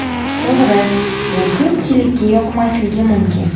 To‘g‘ri, bu ko‘pchilikka yoqmasligi mumkin.